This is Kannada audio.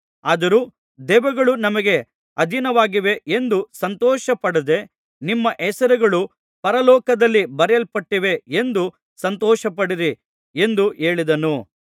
ಆದರೂ ದೆವ್ವಗಳು ನಮಗೆ ಅಧೀನವಾಗಿವೆ ಎಂದು ಸಂತೋಷಪಡದೆ ನಿಮ್ಮ ಹೆಸರುಗಳು ಪರಲೋಕದಲ್ಲಿ ಬರೆಯಲ್ಪಟ್ಟಿವೆ ಎಂದು ಸಂತೋಷಪಡಿರಿ ಎಂದು ಹೇಳಿದನು